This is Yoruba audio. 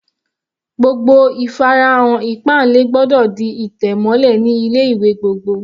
Gbogbo ìfarahàn ìpáǹle gbọ́dọ̀ di ìtẹ̀ mọ́lẹ̀ ní ilé ìwé gbogbo.